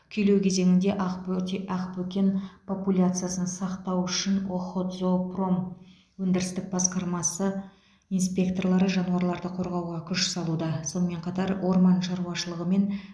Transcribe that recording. күйлеу кезеңінде ақбөрте ақбөкен популяциясын сақтау үшін охотзоопром өндірістік басқармасы инспекторлары жануарларды қорғауға күш салуда сонымен қатар орман шаруашылығы мен